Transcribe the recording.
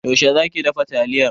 Yaushe za ki dafa taliyar?